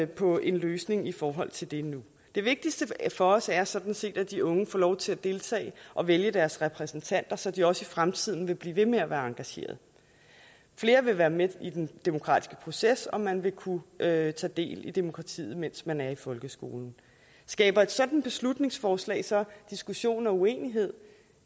på en løsning i forhold til det nu det vigtigste for os er sådan set at de unge får lov til at deltage og vælge deres repræsentanter så de også i fremtiden vil blive ved med at være engagerede flere vil være med i den demokratiske proces og man vil kunne tage tage del i demokratiet mens man er i folkeskolen skaber et sådant beslutningsforslag så diskussion og uenighed